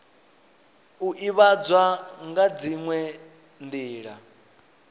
u ivhadzwa nga dziwe nila